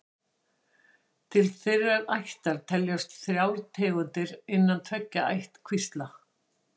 Til þeirrar ættar teljast þrjár tegundir innan tveggja ættkvísla.